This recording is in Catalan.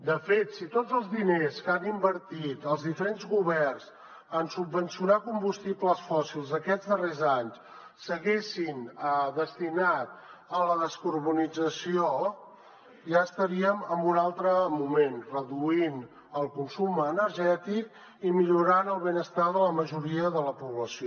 de fet si tots els diners que han invertit els diferents governs en subvencionar combustibles fòssils aquests darrers anys s’haguessin destinat a la descarbonització ja estaríem en un altre moment reduint el consum energètic i millorant el benestar de la majoria de la població